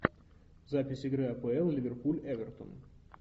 запись игры апл ливерпуль эвертон